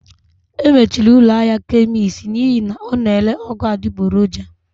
E mechiri ụlọ ahịa kemist n'ihi na ọ na-ere ọgwụ adịgboroja